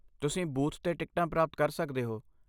ਤੁਸੀਂ ਬੂਥ 'ਤੇ ਟਿਕਟਾਂ ਪ੍ਰਾਪਤ ਕਰ ਸਕਦੇ ਹੋ।